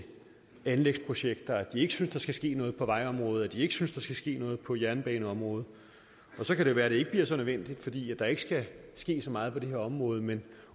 anlægsprojekter at de ikke synes der skal ske noget på vejområdet at de ikke synes der skal ske noget på jernbaneområdet og så kan det være det ikke bliver så nødvendigt fordi der ikke skal ske så meget på det her område men